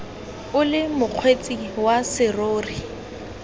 o le mokgweetsi wa serori